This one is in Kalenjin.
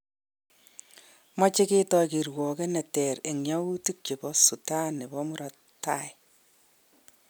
Meche ketoi kirwoget ne ter eng yautik chebo Sutan nebo murot tai